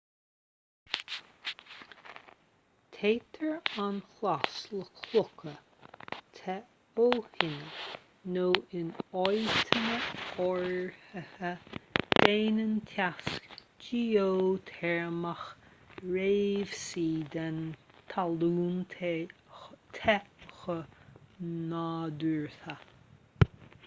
téitear an chlais le clocha te ó thine nó in áiteanna áirithe déanann teas geoiteirmeach réimsí den talún te go nádúrtha